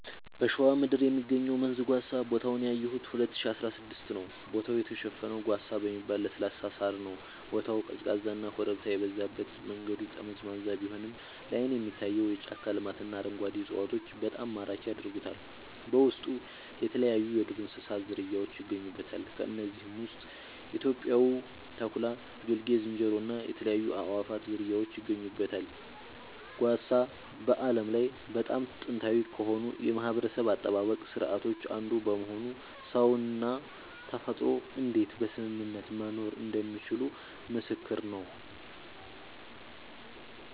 በሸዋ ምድር የሚገኘው መንዝ ጓሳ ቦታውን ያየሁት 2016 ነዉ ቦታው የተሸፈነው ጓሳ በሚባል ለስላሳ ሳር ነዉ ቦታው ቀዝቃዛና ኮረብታ የበዛበት መንገዱ ጠመዝማዛ ቢሆንም ላይን የሚታየው የጫካ ልማትና አረንጓዴ እፅዋቶች በጣም ማራኪ ያደርጉታል በውስጡ የተለያይዩ የዱር እንስሳት ዝርያውች ይገኙበታል ከነዚህም ውስጥ ኢትዮጵያዊው ተኩላ ጌልጌ ዝንጀሮ እና የተለያዩ የአእዋፋት ዝርያወች ይገኙበታል። ጓሳ በዓለም ላይ በጣም ጥንታዊ ከሆኑ የማህበረሰብ አጠባበቅ ስርዓቶች አንዱ በመሆኑ ሰውና ተፈጥሮ እንዴት በስምምነት መኖር እንደሚችሉ ምስክር ነዉ